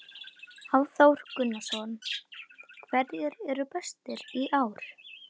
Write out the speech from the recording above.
Hafþór Gunnarsson: Hverjir eru bestir í ár?